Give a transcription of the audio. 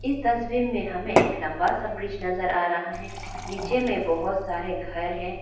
इस तस्वीर मे हमें एक लंबा सा ब्रिज नजर आ रहा है नीचे मे बहुत सारे घर हैं।